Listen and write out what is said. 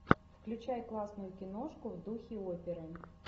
включай классную киношку в духе оперы